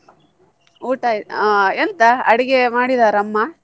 ಊಟ ಆಹ್ ಎಂತ ಅಡಿಗೆ ಮಾಡಿದಾರ ಅಮ್ಮ?